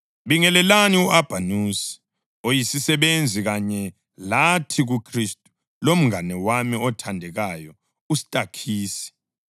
Bingelelani u-Abhanusi, oyisisebenzi kanye lathi kuKhristu, lomngane wami othandekayo uStakhisi.